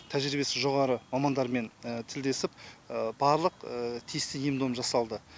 тәжірибесі жоғары мамандармен тілдесіп барлық тиісті ем дом жасалды